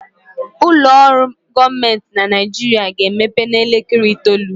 Ụlọ ọrụ gọọmenti na Naijiria ga-emepe n'elekere itoolu